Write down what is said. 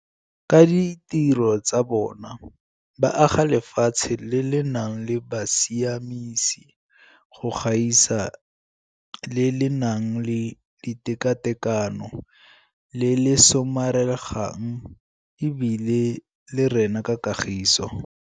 Ka ditiro tsa bona, ba aga lefatshe le le nang le bosiamisi go gaisa, le le nang le tekatekano, le le somaregang e bile le rena ka kagiso.